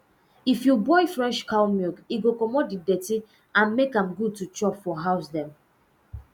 if you boil fresh cow milk e go commot the dirty and make am good to chop for house um